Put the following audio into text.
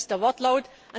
Das ist der Wortlaut.